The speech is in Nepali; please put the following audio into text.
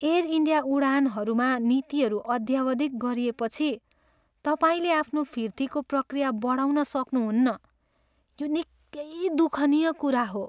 एयर इन्डिया उडानहरूमा नीतिहरू अद्यावधिक गरिएपछि, तपाईँले आफ्नो फिर्तीको प्रकिया बढाउन सक्नुहुन्न, यो निकै दयनीय कुरा हो।